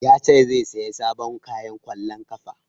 Ya ce zai saya sabon kayan ƙwallon ƙafa